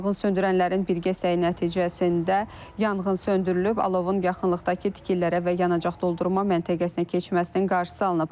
Yanğınsöndürənlərin birgə səy nəticəsində yanğın söndürülüb, alovun yaxınlıqdakı tikililərə və yanacaq doldurma məntəqəsinə keçməsinin qarşısı alınıb.